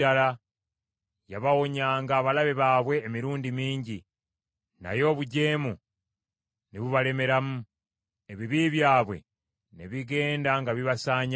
Yabawonyanga abalabe baabwe emirundi mingi, naye obujeemu ne bubalemeramu, ebibi byabwe ne bigenda nga bibasaanyaawo.